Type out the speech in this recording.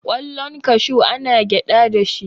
kwallon kashu ana gyada da shi